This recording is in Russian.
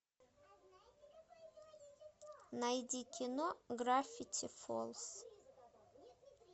найди кино гравити фолз